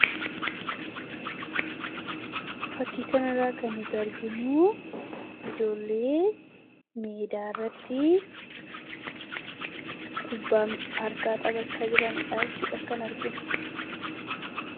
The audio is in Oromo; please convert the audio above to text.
fakkiikan irraa kan nuti arginuu ijoollii miedaarratti kubbaam harkaa xapachaa jiranidhaachuudha kan arginu